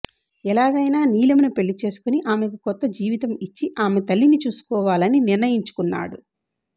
ఎలాగైనా నీలమ్ ను పెళ్లి చేసుకుని ఆమెకు కొత్త జీవితం ఇచ్చి ఆమె తల్లిని చూసుకోవలని నిర్ణయించుకున్నాడు